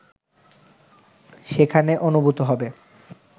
সেখানে অনুভূত হবে